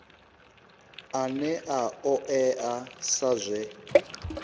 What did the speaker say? ane a oea sa zwe